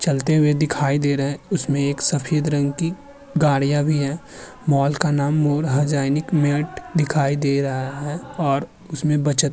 चलते हुए दिखाए दे रहे हैं। उसमें एक सफेद रंग की गाड़ियां भी हैं। मॉल का नाम मोर हजाएनिक मैंट दिखाए दे रहा है और उसमें बचत --